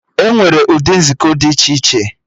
Enwere ụdị nzukọ dị iche iche